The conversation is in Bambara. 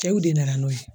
Cɛw de nana n'o ye